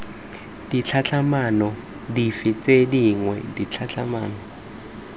ditlhatlhamano dife tse dingwe ditlhatlhamano